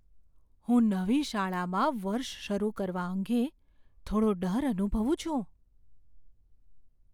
હું નવી શાળામાં વર્ષ શરૂ કરવા અંગે થોડો ડર અનુભવું છું.